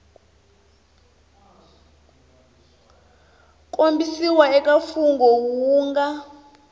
kombisiwa eka mfungho wu nga